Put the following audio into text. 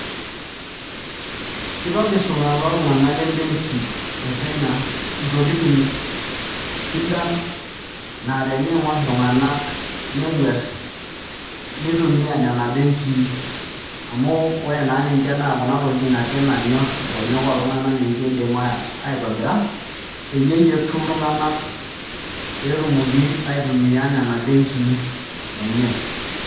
Kitobirr lelo tung'anak lembenki e Kenya ntokitin sidan naa teniing'orr iltunganak nenguarr nitumiaa nena benkii ore naa ninche naa kuna tokitin nanyorr nkonyek oltung'anak iidim aitobira peeyie eyietu iltunganak pee etumoki aitumia nena benkii enye.